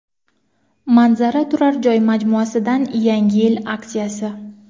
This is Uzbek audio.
Manzara turar joy majmuasidan yangi yil aksiyasi.